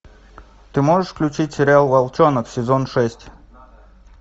ты можешь включить сериал волчонок сезон шесть